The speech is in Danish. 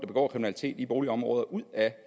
begår kriminalitet i boligområder ud af